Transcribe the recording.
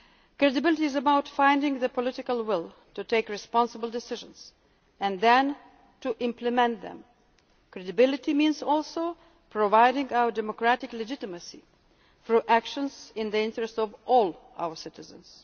States. Credibility is about finding the political will to take responsible decisions and then to implement them. Credibility means also proving our democratic legitimacy through actions in the interests of all